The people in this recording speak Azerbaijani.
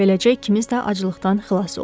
Beləcə ikimiz də aclıqdan xilas olduq.